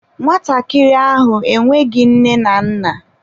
Nwatakịrị ahụ enweghị nne na nna.